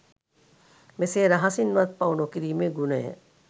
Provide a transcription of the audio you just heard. මෙසේ රහසින්වත් පව් නොකිරීමේ ගුණය